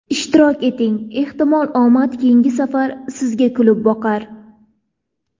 Ishtirok eting, ehtimol omad keyingi safar Sizga kulib boqar!